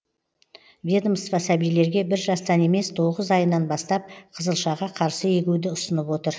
ведомство сәбилерге бір жастан емес тоғыз айынан бастап қызылшаға қарсы егуді ұсынып отыр